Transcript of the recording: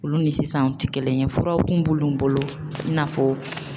Olu ni sisan anw tɛ kelen ye furaw kun b'olu bolo i n'a fɔ